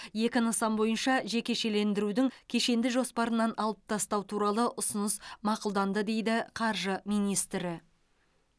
екі нысан бойынша жекешелендірудің кешенді жоспарынан алып тастау туралы ұсыныс мақұлданды дейді қаржы министрі